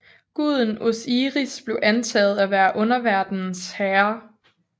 Guden Osiris blev antaget at være underverdenens herre